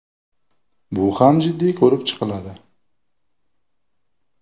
bu ham jiddiy ko‘rib chiqiladi.